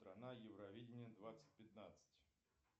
страна евровидения двадцать пятнадцать